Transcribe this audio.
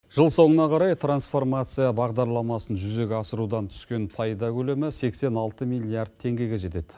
жыл соңына қарай трансформация бағдарламасын жүзеге асырудан түскен пайда көлемі сексен алты миллиард теңгеге жетеді